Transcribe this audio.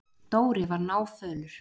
Dóri var náfölur.